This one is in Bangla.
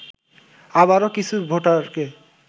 আবারও কিছু ভোটারকে